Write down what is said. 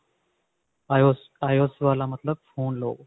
IOS IOS ਵਾਲਾ ਮਤਲਬ phone ਲਓ